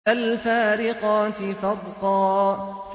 فَالْفَارِقَاتِ فَرْقًا